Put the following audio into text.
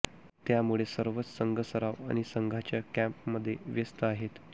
त्यामुळे सर्वच संघ सराव आणि संघाच्या कॅम्पमध्ये व्यस्त आहेत